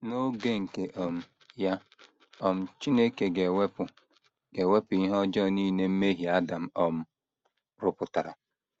N’oge nke um ya, um Chineke ga - ewepụ ga - ewepụ ihe ọjọọ nile mmehie Adam um rụpụtara.